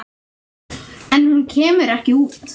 En hún kemur ekki út.